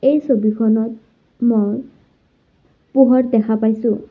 এই ছবিখনত মই পোহৰ দেখা পাইছোঁ।